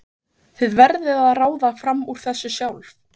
Þið verðið að ráða fram úr þessu sjálf.